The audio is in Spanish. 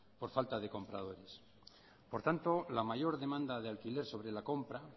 por falta de compradores por tanto la mayor demanda de alquiler sobre la compra